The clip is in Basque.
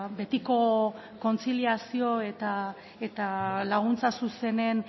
betiko kontziliazio eta laguntza zuzenen